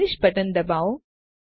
finish button દબાવો